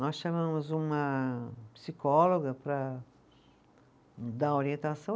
Nós chamamos uma psicóloga para dar orientação.